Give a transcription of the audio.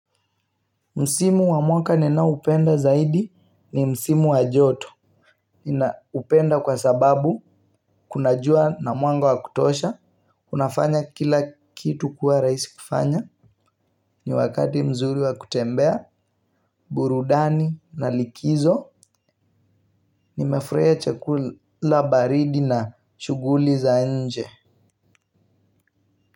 Msimu wa mwaka nina upenda zaidi ni msimu wajoto. Nina upenda kwa sababu kuna jua na mwanga wa kutosha. Unafanya kila kitu kuwa raisi kufanya. Ni wakati mzuri wa kutembea. Burudani na likizo. Nimefreiya chakula baridi na shuguli za nje.